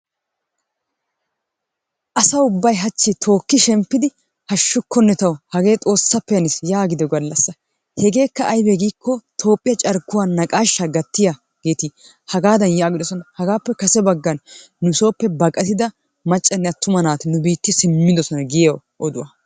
Asa ubbay hachchi tookshemppidi hashukkone tawu hagee xoosappe hannis yaagido galassa, hegeekka aybee giiko Toophiyaa carkuwaa naqaasha gattiyagetti hagadan yaagidosona hagaappe kasebaggan baqattida maccane attuma naati nu biiti simidosona giiyo odduwaa.